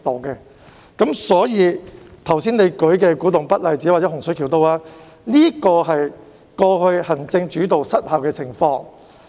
你剛才列舉的古洞北例子，以及洪水橋的發展，均反映過去行政主導失效的情況。